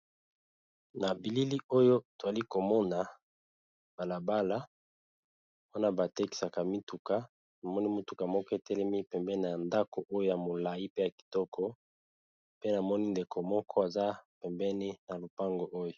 Nabilili oyo twalikomona balabala wana batekisaka mituka namoni mutuka moko etelemi pembeni yandako yamolayi pe yakitoko namoni pe ndeko moko mobali atelemi pembeni ya lupango oyo